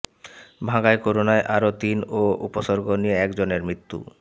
ভাঙ্গায় করোনায় আরও তিন ও উপসর্গ নিয়ে একজনের মৃত্যু